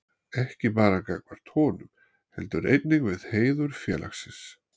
Ekki bara gagnvart honum, heldur einnig við heiður félagsins.